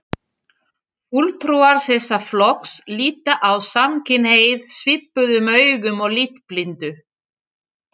Fulltrúar þessa flokks líta á samkynhneigð svipuðum augum og litblindu.